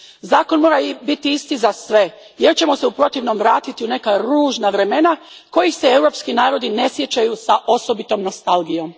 Zakon mora biti isti za sve jer ćemo se u protivnom vratiti u neka ružna vremena kojih se europski narodi ne sjećaju s osobitom nostalgijom.